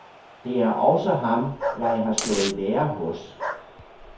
Det er også ham, jeg har stået i lære hos.